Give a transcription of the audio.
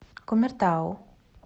кумертау